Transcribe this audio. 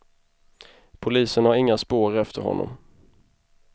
Polisen har inga spår efter honom.